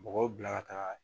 Mɔgɔw bila ka taa